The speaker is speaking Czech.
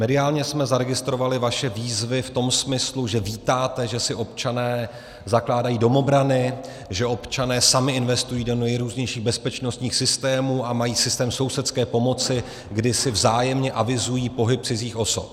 Mediálně jsme zaregistrovali vaše výzvy v tom smyslu, že vítáte, že si občané zakládají domobrany, že občané sami investují do nejrůznějších bezpečnostních systémů a mají systém sousedské pomoci, kdy si vzájemně avizují pohyb cizích osob.